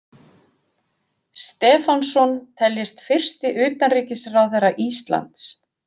Stefánsson teljist fyrsti utanríkisráðherra Íslands.